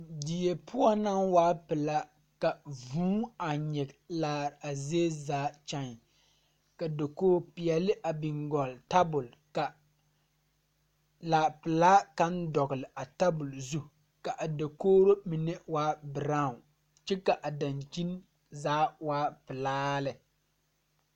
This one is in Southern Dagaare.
Die poɔ naŋ waa pilaa ka vūū a nyige laare zie zaa kyai ka dokoge peɛɛle a biŋ kɔg tabol ka laa pilaa kaŋ dɔgle a tabol zu ka a dokogro mine waa braawn kyɛ ka a dankyini zaa waa pilaa lɛ.